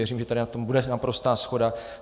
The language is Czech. Věřím, že tady na tom bude naprostá shoda.